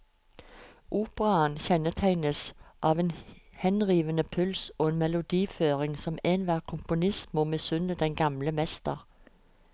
Operaen kjennetegnes av en henrivende puls og en melodiføring som enhver komponist må misunne den gamle mester.